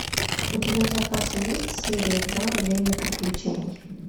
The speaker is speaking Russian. у тебя в запасе есть серия два время приключений